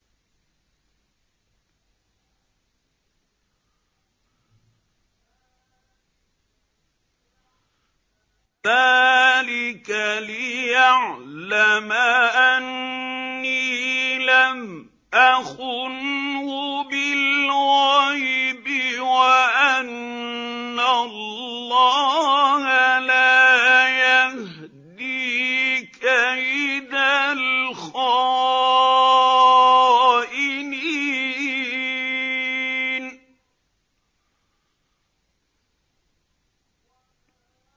ذَٰلِكَ لِيَعْلَمَ أَنِّي لَمْ أَخُنْهُ بِالْغَيْبِ وَأَنَّ اللَّهَ لَا يَهْدِي كَيْدَ الْخَائِنِينَ